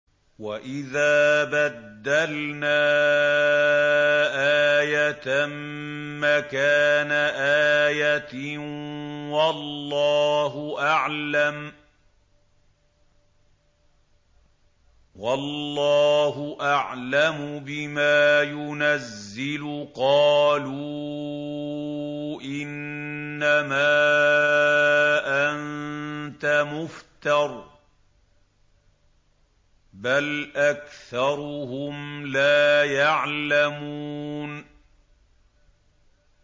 وَإِذَا بَدَّلْنَا آيَةً مَّكَانَ آيَةٍ ۙ وَاللَّهُ أَعْلَمُ بِمَا يُنَزِّلُ قَالُوا إِنَّمَا أَنتَ مُفْتَرٍ ۚ بَلْ أَكْثَرُهُمْ لَا يَعْلَمُونَ